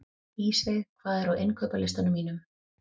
Ísveig, hvað er á innkaupalistanum mínum?